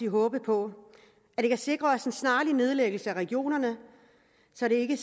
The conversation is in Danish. håbe på at det kan sikre os en snarlig nedlæggelse af regionerne så vi ikke